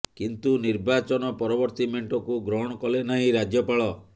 କିନ୍ତୁ ନିର୍ବାଚନ ପରବର୍ତ୍ତୀ ମେଣ୍ଟକୁ ଗ୍ରହଣ କଲେ ନାହିଁ ରାଜ୍ୟପାଳ